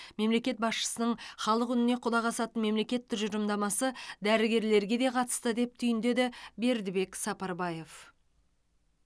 мемлекет басшысының халық үніне құлақ асатын мемлекет тұжырымдамасы дәрігерлерге де қатысты деп түйіндеді бердібек сапарбаев